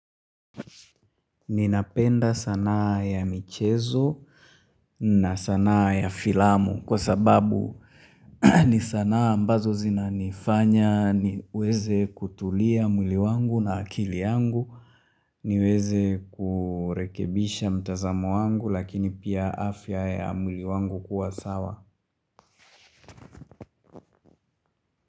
Ninapenda sanaa ya michezo na sanaa ya filamu kwa sababu ni sanaa ambazo zina nifanya ni weze kutulia mwili wangu na akili yangu ni weze kurekebisha mtazamo wangu lakini pia afya ya mwili wangu kuwa sawa.